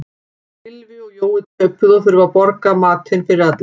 Gylfi og Jói töpuðu og þurfa að borga matinn fyrir alla.